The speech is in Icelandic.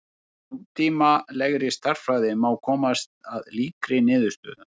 Í nútímalegri stærðfræði má komast að líkri niðurstöðu.